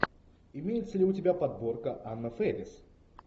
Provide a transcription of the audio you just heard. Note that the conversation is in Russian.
имеется ли у тебя подборка анна фэрис